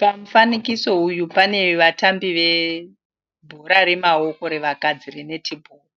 Pamufanikiso uyu pane vatambi vebhora remaoko re vakadzi 're net ball'